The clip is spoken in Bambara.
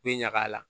U bɛ ɲaga la